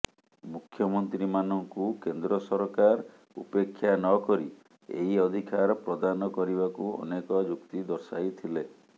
ମୁଖ୍ୟମନ୍ତ୍ରୀମାନଙ୍କୁ କେନ୍ଦ୍ର ସରକାର ଉପେକ୍ଷା ନକରି ଏହି ଅଧିକାର ପ୍ରଦାନ କରିବାକୁ ଅନେକ ଯୁକ୍ତି ଦର୍ଶାଇଥିଲେ